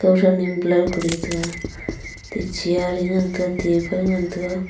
kau than ne blur Kuri taga atte chair e ngan taga table ngan taga.